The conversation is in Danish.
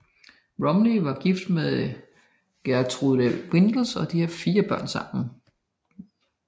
Rompuy er gift med Geertrui Windels og de har fire børn sammen